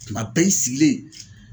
Kuma bɛɛ i sigilen